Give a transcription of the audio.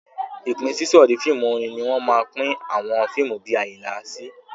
Ìpínsísọ̀rí fíìmù orin ni wọ́n máa pín àwọn fíìmù bí Àyìnlá sí.